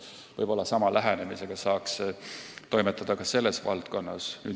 Võib-olla saaks sama lähenemisega toimetada ka selles valdkonnas.